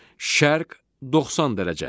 Şərq 90 dərəcə.